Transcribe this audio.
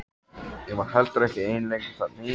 Ég var heldur ekki ein lengur þarna í